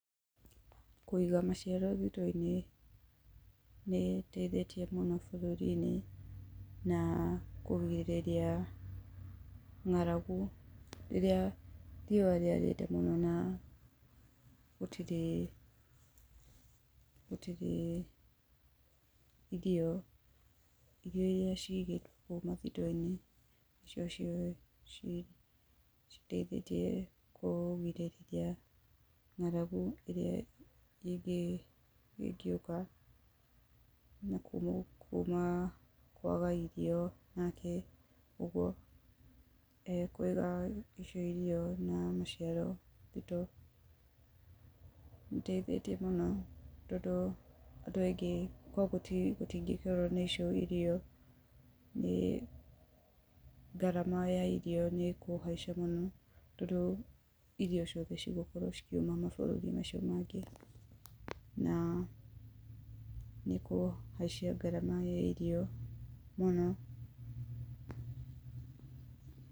Kũiga mũcere thitoo-inĩ nĩ ĩteithĩtie mũno bũrũri-inĩ, na kũgirĩria ng'aragu rĩrĩa riũa rĩarĩte mũno na gũtirĩ, gũtirĩ irio. Irio iria cigĩtwo nakũu mathitoo-inĩ nĩcio citeithĩtie kũgirĩrĩria ng'aragu ĩrĩa ningĩ ĩngĩũka, na kuuma kwaga irio nake ũguo, kũiga icio irio na mũciaro, indo iteithĩtie mũno tondũ andũ aingĩ, korwo gũtingĩkorwo na icio irio, nĩ ngarama ya irio nĩ ĩkũhaica mũno, tondũ irio ciothe cigũkorwo cikiuma mabũrũri-inĩ macio mangĩ. Na nĩ kũhaicia ngarama ya irio mũno.